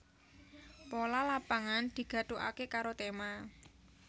Pola Lapangan digathukaké karo tema